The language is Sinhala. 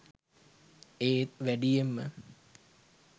ඒත් වැඩියෙන්ම